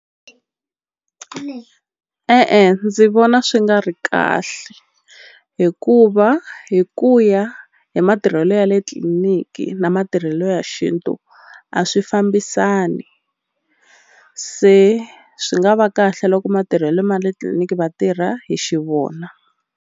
e-e ndzi vona swi nga ri kahle hikuva hi ku ya hi matirhelo ya le tliliniki na matirhelo ya xintu a swi fambisani se swi nga va kahle loko matirhelo ma le tliliniki va tirha hi xivona.